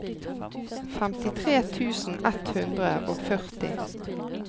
femtitre tusen ett hundre og førti